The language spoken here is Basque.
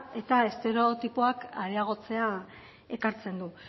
eta estereotipoak areagotzea ekartzen du